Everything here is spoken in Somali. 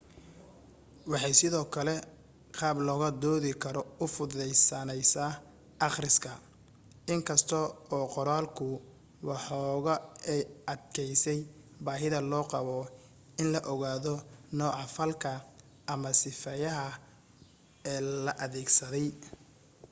waxay sidoo kale qaab laga doodi karo u fududeynaysaa akhriska in kasta oo qoraalku waxoogaa ay adkaysay baahida loo qabo in la ogaado nooca falka ama sifeeyaha ee la adeegsaday